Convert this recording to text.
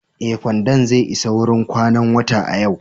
Ee, kwandon zai isa wurin kwanan wata a yau.